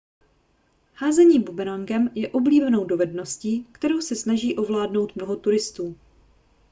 házení bumerangem je oblíbenou dovedností kterou se snaží ovládnout mnoho turistů